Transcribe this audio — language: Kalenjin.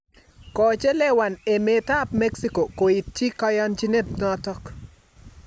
Koochelewan emet ap mexico koitchii kayanchiinet notok